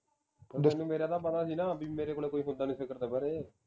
ਪਰ ਤੈਨੂੰ ਮੇਰਾ ਤਾ ਪਤਾ ਸੀ ਨਾ ਬਈ ਮੇਰੇ ਕੋਲ ਕੋਈ ਹੁੰਦਾ ਨੀ ਸਿਖਰ ਦੁਪਹਿਰੇ